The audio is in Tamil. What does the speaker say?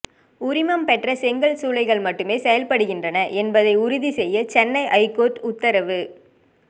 உரிமம் பெற்ற செங்கல் சூளைகள் மட்டுமே செயல்படுகின்றன என்பதை உறுதி செய்ய சென்னை ஐகோர்ட் உத்தரவு